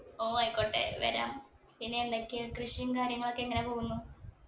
ഓ ആയിക്കോട്ടെ വരാം പിന്നെ എന്തൊക്കെയാ കൃഷിയും കാര്യങ്ങളൊക്കെ എങ്ങനെ പോകുന്നു